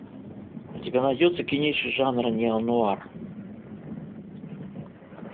у тебя найдется кинище жанра неонуар